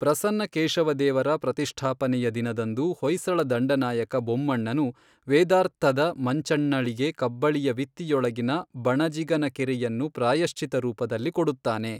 ಪ್ರಸನ್ನಕೇಶವದೇವರ ಪ್ರತಿಷ್ಠಾಪನೆಯ ದಿನದಂದು ಹೊಯ್ಸಳ ದಂಡನಾಯಕ ಬೊಮ್ಮಣ್ಣನು ವೇದಾರ್ತ್ತದ ಮಂಚಂಣ್ನಳಿಗೆ ಕಬ್ಬಳಿಯ ವಿತ್ತಿಯೊಳಗಿನ ಬಣಜಿಗನಕೆರೆಯನ್ನು ಪ್ರಾಯಶ್ಚಿತ್ತ ರೂಪದಲ್ಲಿ ಕೊಡುತ್ತಾನೆ.